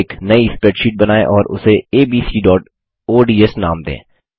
एक नई स्प्रैडशीट बनाएँ और उसे abcओडीएस नाम दें